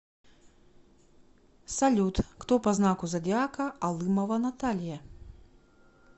салют кто по знаку зодиака алымова наталья